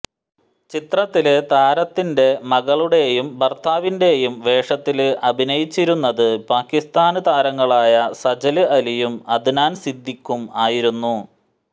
ചിത്രത്തില് താരത്തിന്റെ മകളുടെയും ഭര്ത്താവിന്റെയും വേഷത്തില് അഭിനയിച്ചിരുന്നത് പാകിസ്താന് താരങ്ങളായ സജല് അലിയും അദ്നാന് സിദ്ദിഖും ആയിരുന്നു